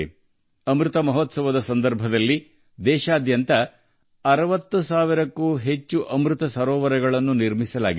ಅಮೃತ ಮಹೋತ್ಸವ ಸಮಯದಲ್ಲಿ ದೇಶಾದ್ಯಂತ 60 ಸಾವಿರಕ್ಕೂ ಹೆಚ್ಚು ಅಮೃತ ಸರೋವರಗಳನ್ನು ನಿರ್ಮಿಸಲಾಗಿದೆ